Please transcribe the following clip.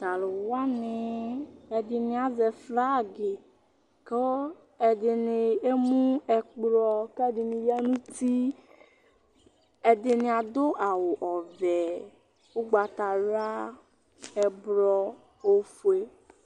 to alowani ɛdini azɛ flag kò ɛdini emu ɛkplɔ k'ɛdini ya no uti ɛdini ado awu ɔvɛ ugbata wla ɛblɔ ofue